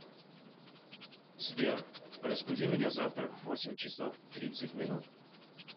сбер разбуди меня завтра в восемь часов тридцать минут